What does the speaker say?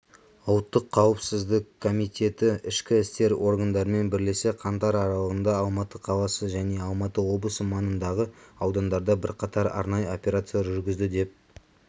ұлттық қауіпсіздік комитеті ішкі істер органдарымен бірлесе қаңтар аралығында алматы қаласы және алматы облысы маңындағы аудандарда бірқатар арнайы операциялар жүргізді деп